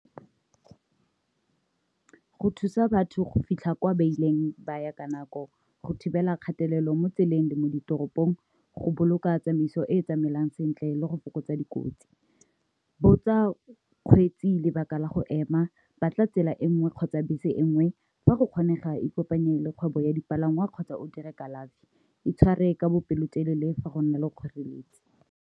Go thusa batho go fitlha kwa beileng ba ya ka nako, go thibela kgatelelo mo tseleng le mo ditoropong, go boloka tsamaiso e e tsamaelanang sentle le go fokotsa dikotsi. Botsa kgweetsi lebaka la go ema, batla tsela e nngwe kgotsa bese e nngwe fa go kgonega e kopanye le kgwebo ya dipalangwa kgotsa o dire kalafi, e tshware ka bopelo telele fa go nna le kgoreletsi.